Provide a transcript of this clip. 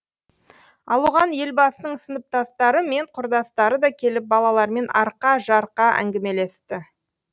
ал оған елбасының сыныптастары мен құрдастары да келіп балалармен арқа жарқа әңгімелесті